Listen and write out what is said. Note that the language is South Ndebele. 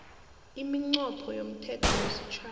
iminqopho yomthetho wesitjhaba